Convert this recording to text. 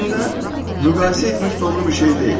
Əslində müqayisə etmək doğru bir şey deyil.